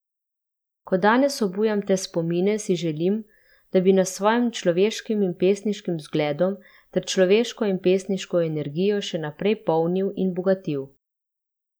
Ko danes obujam te spomine, si želim, da bi nas s svojim človeškim in pesniškim vzgledom ter človeško in pesniško energijo še naprej polnil in bogatil.